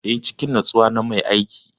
Eh, cikin natsuwa na mai aiki.